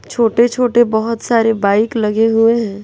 छोटे छोटे बहोत सारे बाइक लगे हुए हैं।